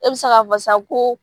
E bi se ka fɔ san ko